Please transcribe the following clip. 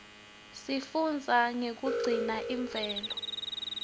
sifunbza nifnqe kuguna imvelo